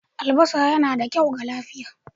Albasa yana da kyau ga lafiya.